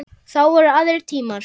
Þá voru aðrir tímar.